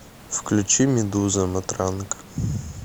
включи медуза матранг